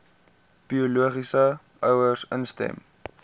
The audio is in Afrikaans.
biologiese ouers instem